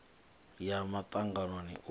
u ya muṱanganoni u siho